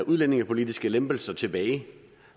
udlændingepolitiske lempelser tilbage